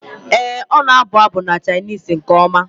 Ee, ọ na-abụ abụ na Chinese nke ọma.